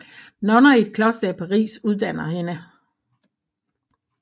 Nonner i et kloster i Paris uddanner hende